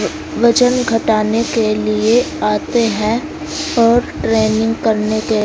वजन घटाने के लिए आते हैं और ट्रेनिंग करने के--